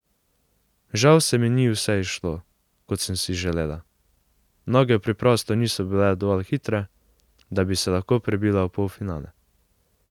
Žal se mi ni vse izšlo, kot sem si želela, noge preprosto niso bile dovolj hitre, da bi se lahko prebila v polfinale.